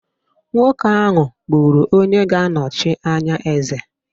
Nwoke ahụ gburu onye ga-anọchi anya eze